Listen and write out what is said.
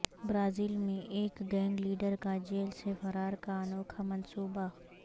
Brazil میں ایک gang leader کا جیل سے فرار کا انوکھا منصوبہ